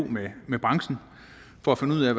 med branchen for at finde ud af